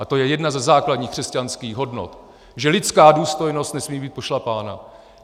A to je jedna ze základních křesťanských hodnot, že lidská důstojnost nesmí být pošlapána.